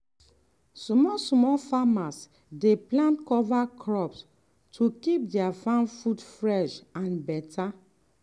small-small farmers dey plant cover crops to keep their farm food fresh and better.